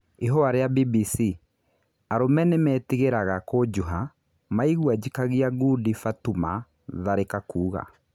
Ihũa rĩ a BBC:Arũme nĩ metigĩ raga kũjuha maigwa njikagia ngundi Batũma Tharĩ ka kuga